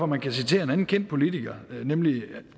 man kan citere en anden kendt politiker nemlig herre